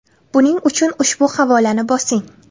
Buning uchun ushbu havolani bosing: .